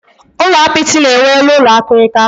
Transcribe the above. Ulo apịtị na enwe elu ụlọ akirika